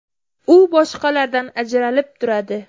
U boshqalardan ajralib turadi.